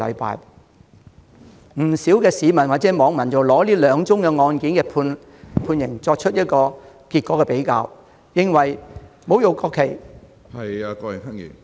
不少市民或網民比較這兩宗案件的判決結果後認為，侮辱國旗......